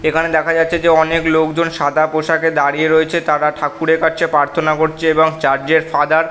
এখানে দেখা যাচ্ছে যে অনেক লোকজন সাদা পোশাকে দাঁড়িয়ে রয়েছে তারা ঠাকুরের কাছে প্রার্থনা করছে এবং চার্চ এর ফাদার --